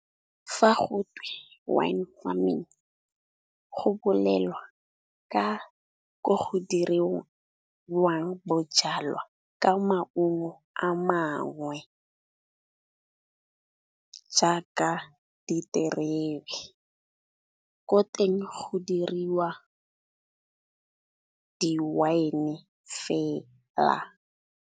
Fa go twe wine farming, go bolelwa ka ko go diriwang bojalwa ka maungo a mangwe, jaaka diterebe. Ko teng go diriwa di wine fela.